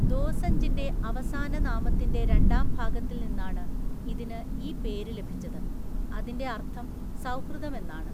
ദോസഞ്ജിന്റെ അവസാന നാമത്തിന്റെ രണ്ടാം ഭാഗത്തിൽ നിന്നാണ് ഇതിന് ഈ പേര് ലഭിച്ചത്, അതിന്റെ അർത്ഥം സൗഹൃദം എന്നാണ്.